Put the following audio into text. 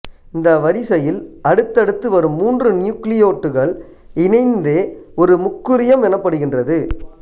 இந்த வரிசையில் அடுத்தடுத்து வரும் மூன்று நியூக்கிளியோட்டடுக்கள் இணைந்தே ஒரு முக்குறியம் எனப்படுகின்றது